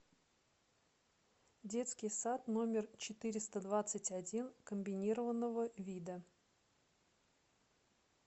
детский сад номер четыреста двадцать один комбинированного вида